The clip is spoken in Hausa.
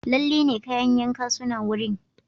Lalle ne, kayan yanka suna wurin.